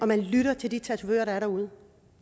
man lytter til de tatovører der er derude